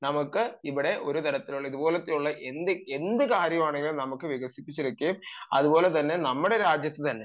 നമുക്ക് ഇവിടെ ഒരു തരത്തിലുള്ള ഇതുപോലെത്തെയുള്ള എന്ത് കാര്യമാണെങ്കിലും നമുക്ക് വികസിപ്പിച്ചു എടുക്കുകയും അതുപോലെ തന്നെ നമ്മുടെ രാജ്യത്തു തന്നെ